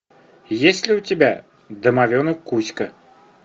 есть ли у тебя домовенок кузька